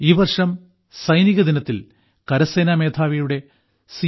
ഈ വർഷം സൈനികദിനത്തിൽ കരസേനാമേധാവിയുടെ സി